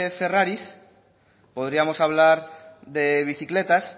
ferraris podríamos hablar de bicicletas